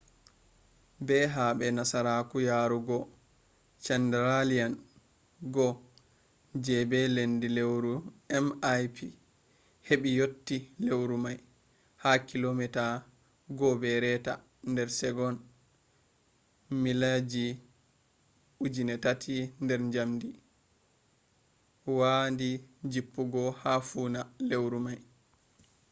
be habe nasaraku yarogo chandrayaan-1 je be lendi lewru mip hebe yotti lewru mai ha kilomeeta 1.5 nder segon mileji 3000 nder njamdi wa di jippogo ha funa lewru mai